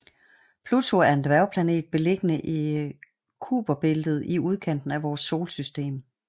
Pluto er en dværgplanet beliggende i Kuiperbæltet i udkanten af vores solsystem